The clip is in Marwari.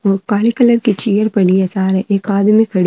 बा काली कलर के चेयर पड़ी है सार एक आदमी खड़ो है।